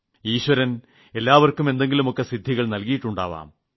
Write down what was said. ഈശ്വരൻ എല്ലാവർക്കും എന്തെങ്കിലുമൊക്കെ സിദ്ധികൾ നൽകിയിട്ടുണ്ടാവും